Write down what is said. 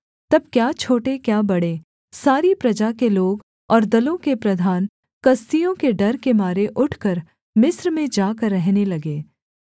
तब क्या छोटे क्या बड़े सारी प्रजा के लोग और दलों के प्रधान कसदियों के डर के मारे उठकर मिस्र में जाकर रहने लगे